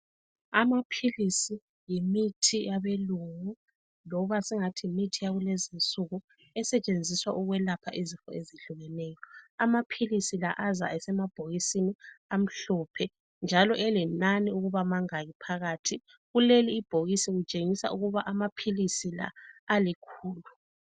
Amaphilisi yimithi yabelungu loba singathi yimithi yakulezi insuku esetshenziswa ukwelapha izifo ezehlukeneyo. Amaphilisi la aza esemabhokisini amhlophe njalo elenani ukuba mangaki phakathi. Kuleli ibholisi kutshengisa ukuba amaphilisi la alikhulu.